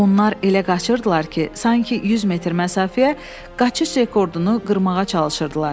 Onlar elə qaçırdılar ki, sanki 100 metr məsafəyə qaçış rekordunu qırmağa çalışırdılar.